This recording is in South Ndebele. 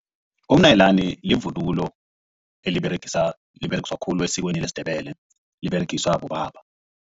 Umnyalinani livunulo eliberegiswa khulu esikweni lesiNdebele liberegiswa bobaba.